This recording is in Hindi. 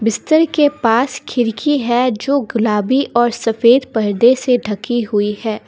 बिस्तर के पास खिड़की है जो गुलाबी और सफेद पर्दे से ढकी हुई है।